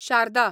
Sharda